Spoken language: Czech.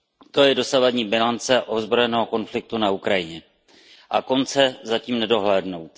To je dosavadní bilance ozbrojeného konfliktu na Ukrajině. A konce zatím nedohlédnout.